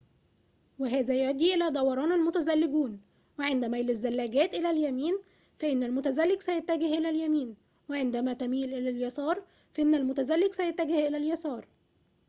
وهذا يؤدي إلى دوران المتزلجون وعند ميل الزلاجات إلى اليمين فإن المتزلج سيتجه إلى اليمين وعندما تميل إلى اليسار فإن المتزلج سيتجه إلى اليسار